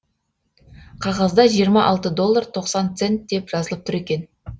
қағазда жиырма алты доллар тоқсан цент деп жазылып тұр екен